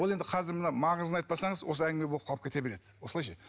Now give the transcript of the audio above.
ол енді қазір мына маңызын айтпасаңыз осылай әңгіме болып қалып кете береді осылай ше